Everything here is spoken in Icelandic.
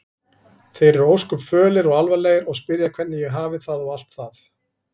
Þeir eru ósköp fölir og alvarlegir og spyrja hvernig ég hafi það og allt það.